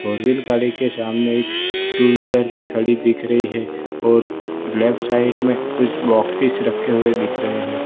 For wheel गाड़ी के सामने एक टू व्हीलर भी खड़ी दिख रही है और लेफ्ट साइड में कुछ बॉक्सेस रखे हुए दिख रहे हैं।